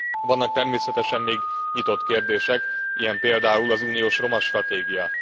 Vannak természetesen még nyitott kérdések, ilyen például az uniós romastratégia.